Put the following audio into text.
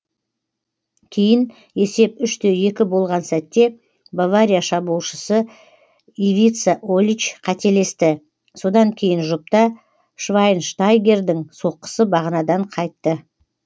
кейін есеп үш те екі болған сәтте бавария шабуылшысы ивица олич қателесті содан кейінгі жұпта швайнштайгердің соққысы бағанадан қайтты